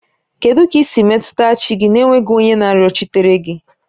Kedu ka i si metụta chi gị n'enweghị onye na-arịọchitere gị?